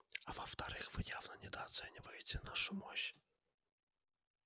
а во-вторых вы явно недооцениваете нашу мощь